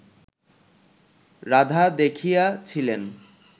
রাধা দেখিয়া ছিলেন